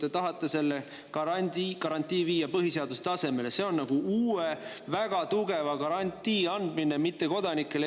Te aga tahate garantii viia põhiseaduse tasemele ja see on Eesti põhiseaduses nagu uue väga tugeva garantii andmine mittekodanikele.